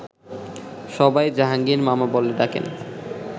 সবাই জাহাঙ্গীর মামা বলে ডাকেন